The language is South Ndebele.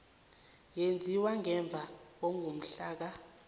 eyenziwe ngemva kwangomhlaka